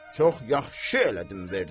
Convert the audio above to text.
Çox yaxşı elədim verdim.